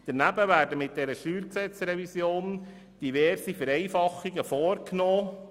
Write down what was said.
Daneben werden mit dieser StG-Revision diverse Vereinfachungen vorgenommen.